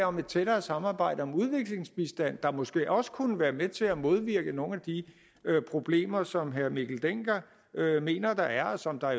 om et tættere samarbejde om udviklingsbistand der måske også kunne være med til at modvirke nogle af de problemer som herre mikkel dencker mener der er og som der